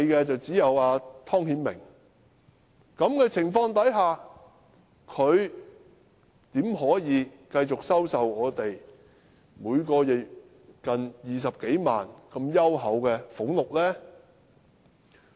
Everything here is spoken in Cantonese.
在這情況下，他怎麼可以繼續向我們收取每月近20多萬元這如此優厚的俸祿呢？